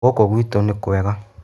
Ngũkũ gwitũ nĩ kwega.